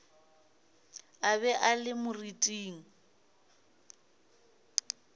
a be a le moriting